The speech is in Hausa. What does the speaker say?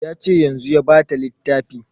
Ya ce yanzun ya ba ta littafi